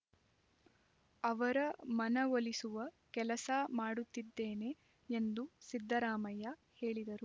ಅವರ ಮನವೊಲಿಸುವ ಕೆಲಸ ಮಾಡುತ್ತಿದ್ದೇನೆ ಎಂದು ಸಿದ್ದರಾಮಯ್ಯ ಹೇಳಿದರು